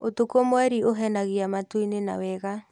ũtukũ mweri ũhenagia matu-inĩ na wega.